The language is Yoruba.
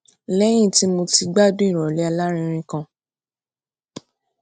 léyìn tí mo ti gbádùn ìròlé alárinrin kan